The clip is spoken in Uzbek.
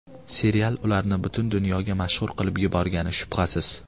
Serial ularni butun dunyoga mashhur qilib yuborgani shubhasiz.